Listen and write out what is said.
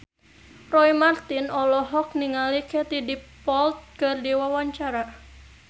Roy Marten olohok ningali Katie Dippold keur diwawancara